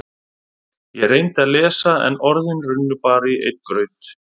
Ég reyndi að lesa en orðin runnu bara í einn graut.